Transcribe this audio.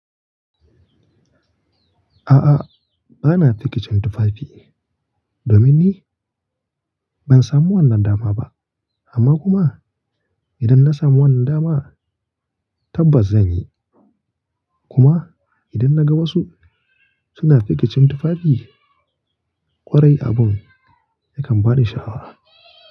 A'a, ba na fikicin tufafi. Domin ni ban samu wannan dama ba amma kuma idan na samu wannan dama tabbas zan yi. Kuma idan na ga wasu suna fikicin tufafi ƙwarai abun yakan ba ni sha'awa.